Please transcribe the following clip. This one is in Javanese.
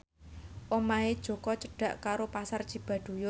omahe Jaka cedhak karo Pasar Cibaduyut